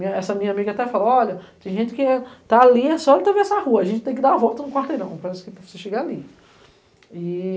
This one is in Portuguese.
Essa minha amiga até falou, olha, tem gente que está ali, é só atravessar a rua, a gente tem que dar a volta no quarteirão, parece que para você chegar ali. E